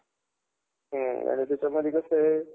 अच्छा!